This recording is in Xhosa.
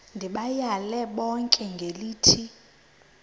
ndibayale bonke ngelithi